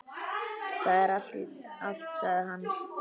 Það er allt, sagði hann.